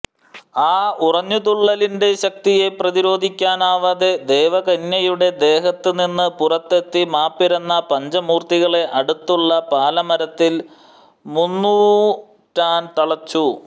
ആ ഉറഞ്ഞുതുള്ളലിന്റെ ശക്തിയെ പ്രഷിരോധിക്കാനാവതെ ദേവകന്യയുടെ ദേഹത്ത് നിന്ന് പുറത്തെത്തി മാപ്പിരന്ന പഞ്ചമൂർത്തികളെ അടുത്തുള്ള പാലമരത്തിൽ മുന്നൂറ്റാൻ തളച്ചു